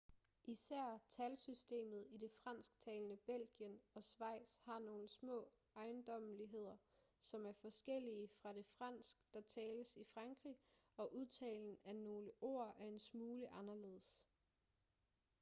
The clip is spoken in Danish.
især talsystemet i det fransktalende belgien og schweiz har nogle små ejendommeligheder som er forskellige fra det fransk der tales i frankrig og udtalen af nogle ord er en smule anderledes